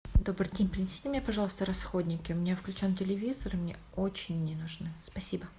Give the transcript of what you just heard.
добрый день принесите мне пожалуйста расходники у меня включен телевизор и мне очень они нужны спасибо